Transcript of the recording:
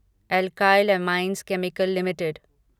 alkyl amines chemicals limited